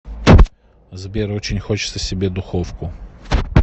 сбер очень хочется себе духовку